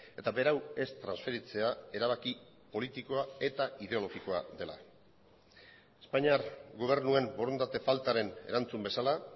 eta berau ez transferitzea erabaki politikoa eta ideologikoa dela espainiar gobernuen borondate faltaren erantzun bezala